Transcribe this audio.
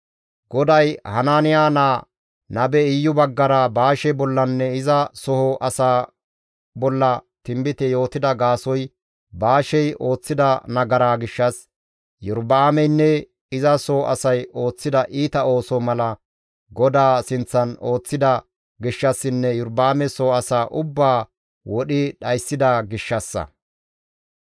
GODAY Hanaaniya naa nabe Iyu baggara Baashe bollanne iza soo asaa bolla tinbite yootida gaasoykka Baashey ooththida nagaraa gishshas, Iyorba7aameynne iza soo asay ooththida iita ooso mala GODAA sinththan ooththida gishshassinne Iyorba7aame soo asaa ubbaa wodhi dhayssida gishshassa.